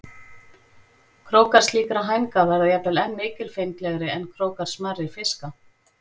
Krókar slíkra hænga verða jafnvel enn mikilfenglegri en krókar smærri fiska.